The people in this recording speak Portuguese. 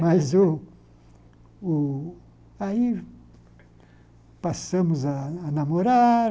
Mas o o... Aí passamos a a namorar,